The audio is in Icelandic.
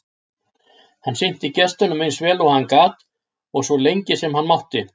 Hann sinnti gestunum eins vel og hann gat og svo lengi sem hann mátti.